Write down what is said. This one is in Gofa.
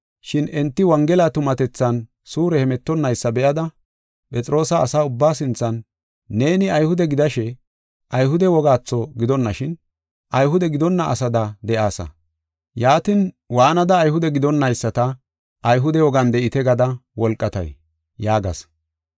Shin enti Wongela tumatethan suure hemetonnaysa be7ada, Phexroosa asa ubbaa sinthan, “Neeni Ayhude gidashe, Ayhude wogaatho gidonashin, Ayhude gidonna asada de7aasa; yaatin, waanada Ayhude gidonnayisata, ‘Ayhude wogan de7ite gada wolqatay?’ ” yaagas.